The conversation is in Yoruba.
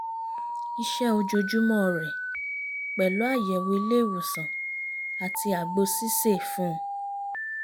iṣẹ́ ojoojúmọ́ rẹ̀ pẹ̀lú àyẹ̀wò ilé ìwòsàn àti àgbo sísè fún